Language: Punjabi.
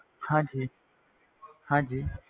ਹਾਂਜੀ ਹਾਂਜੀ